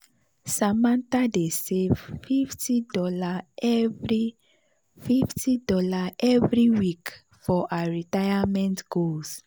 samantha dey save fifty dollarsevery fifty dollarsevery week for her retirement goals.